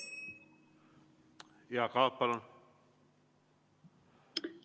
Jaak Aab, palun!